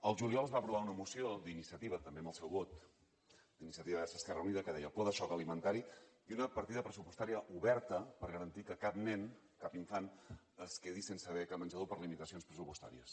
el juliol es va aprovar una moció d’iniciativa també amb el seu vot d’iniciativa verds esquerra unida que deia pla de xoc alimentari i una partida pressupostària oberta per garantir que cap nen cap infant es quedi sense beca menjador per limitacions pressupostàries